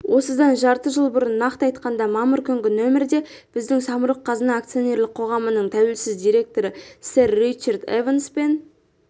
осыдан жарты жыл бұрын нақты айтқанда мамыр күнгі нөмірде біздің самұрық-қазына акционерлік қоғамының тәуелсіз директоры сэр ричард эванспен